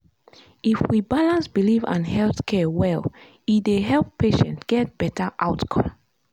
if we balance belief and health care well e dey help patient get better outcome.